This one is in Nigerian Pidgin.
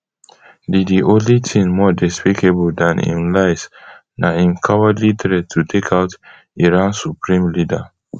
di di only tin more despicable dan im lies na im cowardly threat to take out iran supreme leader